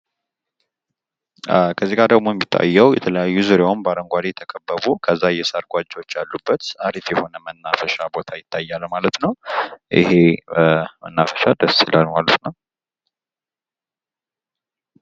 ምስሉ የሚያሳየው ዙሪያውን በአረንጓዴ ሳርና ዛፎች የተከበበ እንዲሁም መሃል ላይ የሳር ጎጆዎች ያሉበት ፣ በታም አሪፍና ደስ የሚል መናፈሻ ነው።